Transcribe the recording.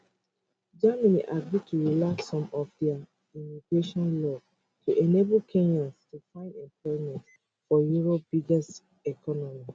germany agree to relax some of dia immigration laws to enable kenyans to find employment for europe biggest economy